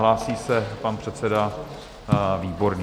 Hlásí se pan předseda Výborný.